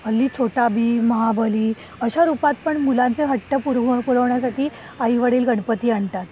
हल्ली छोटा भीम, महाबली अशा रूपात पण मुलांचे हट्ट पुरवण्यासाठी आई वडील गणपती आणतात.